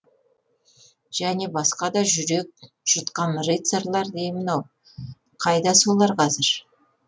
және басқа да жүрек жұтқан рыцарьлар деймін ау қайда солар қазір